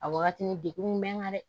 A wagati ni degun bɛ n kan dɛ